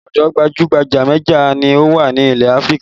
Odò gbajú-gbajà méje ni ó wà nílẹ̀ Áfríkà